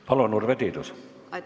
Palun, Urve Tiidus!